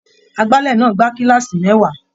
Agbálẹ̀ náà gba kílààsì mẹ́wàá.